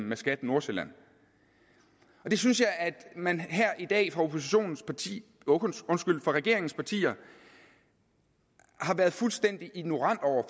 med skat nordsjælland det synes jeg at man her i dag fra regeringspartierne har været fuldstændig ignorerende over